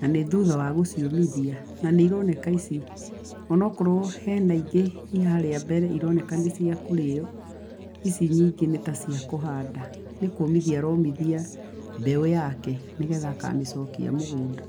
na nĩ thutha wa gũciũmithia na nĩironeka ici onokorwo ena ingĩ i harĩa mbere ironeka nĩ cia kũrĩyo, ici nyingĩ nĩ ta cia kũhanda, nĩkũmithia aromithia mbeũ yake nĩgetha akamĩcokia mũgũnda.